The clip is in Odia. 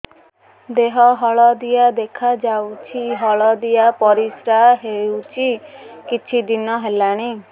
ଦେହ ହଳଦିଆ ଦେଖାଯାଉଛି ହଳଦିଆ ପରିଶ୍ରା ହେଉଛି କିଛିଦିନ ହେଲାଣି